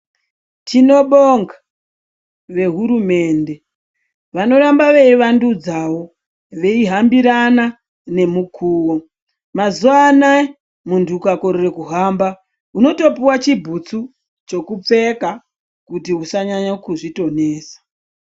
Tinobonga vehurumende vanoramba veivandudzawo veyihambirana nemukuwo, mazuwa anaya muntu ukakorera kuhamba unotopuwa chibhutsu chekupfeka kuti usanyanya kudzithonesa.